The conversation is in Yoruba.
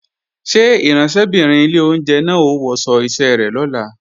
Ṣé ìránṣẹ́bìnrin ilé oúnjẹ náà ó wọṣọ iṣẹ́ rẹ̀ lọ́la?